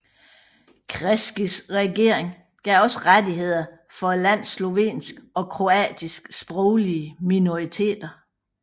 Kreiskys regering gav også rettigheder for landets slovenske og kroatiske sproglige minoriteter